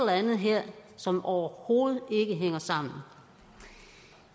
andet her som overhovedet ikke hænger sammen